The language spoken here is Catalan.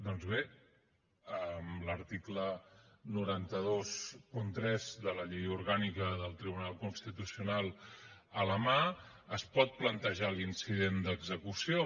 doncs bé amb l’article nou cents i vint tres de la llei orgànica del tribunal constitucional a la mà es pot plantejar l’incident d’execució